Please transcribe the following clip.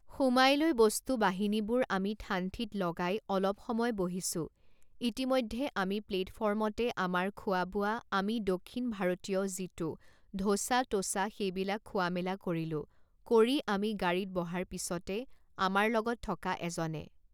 সোমাই লৈ বস্তু বাহিনীবোৰ আমি ঠান ঠিত লগাই অলপ সময় বহিছো ইতিমধ্যে আমি প্লেটফৰ্মতে আমাৰ খোৱা বোৱা আমি দক্ষিণ ভাৰতীয় যিটো ধোচা টোচা সেইবিলাক খোৱা মেলা কৰিলোঁ কৰি আমি গাড়ীত বহাৰ পিছতে আমাৰ লগত থকা এজনে